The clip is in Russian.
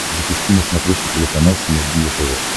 запусти на смотрешке телеканал синергия тв